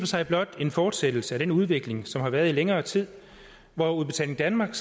sig blot en fortsættelse af den udvikling som har været i længere tid hvor udbetaling danmark